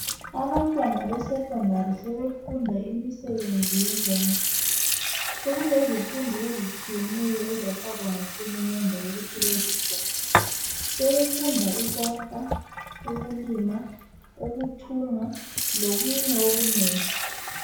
Abantwana be Secondary sebefunda imisebenzi yezandla sokulezifundo ezitshiyeneyo ezafakwa nguhulumende ukuthi bezifunde. Sebefunda ukwakha, ukulima, ukuthunga lokunye okunengi